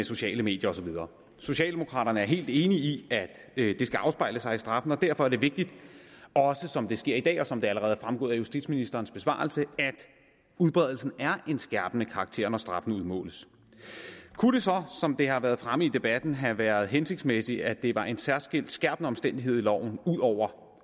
sociale medier og så videre socialdemokraterne er helt enige i at det skal afspejle sig i straffen og derfor er det vigtigt også som det sker i dag og som det allerede er fremgået af justitsministerens besvarelse at udbredelsen er en skærpende karakter når straffen udmåles kunne det så som det har været fremme i debatten have været hensigtsmæssigt at det var en særskilt skærpende omstændigheder i loven